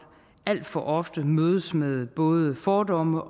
alt for ofte mødes med både fordomme